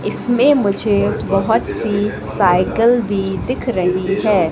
इसमें मुझे बहोत सी साइकल भी दिख रही है।